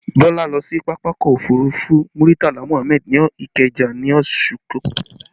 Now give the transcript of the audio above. Bọlá lọ sí pápákọ̀ òfurufú Muritala Muhammad ní Ikeja ní oṣù tó kọjá